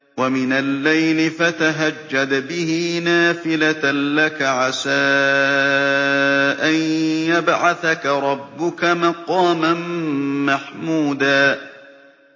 وَمِنَ اللَّيْلِ فَتَهَجَّدْ بِهِ نَافِلَةً لَّكَ عَسَىٰ أَن يَبْعَثَكَ رَبُّكَ مَقَامًا مَّحْمُودًا